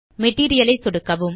material ஐ சொடுக்கவும்